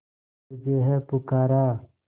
तुझे है पुकारा